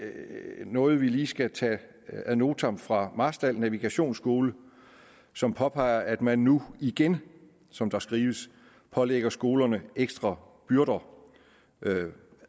noget vi lige skal tage ad notam fra marstal navigationsskole som påpeger at man nu igen som der skrives pålægger skolerne ekstra byrder